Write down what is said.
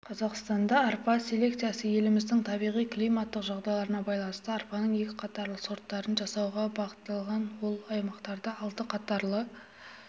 қазақстанда арпа селекциясы еліміздің табиғи-климаттық жағдайларына байланысты арпаның екі қатарлы сорттарын жасауға бағытталған ол аймақтарда алты қатарлы